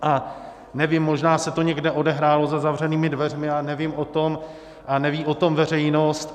A nevím, možná se to někde odehrálo za zavřenými dveřmi a nevím o tom a neví o tom veřejnost.